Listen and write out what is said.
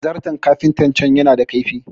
zarton kafinta can yana da laifi